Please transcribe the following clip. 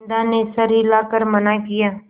बिन्दा ने सर हिला कर मना किया